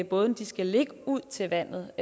bådene skal ligge ud til vandet